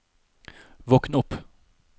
våkn opp